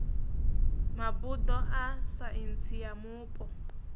mabuḓo a saintsi ya mupo